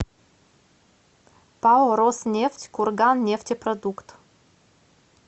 пао роснефть курганнефтепродукт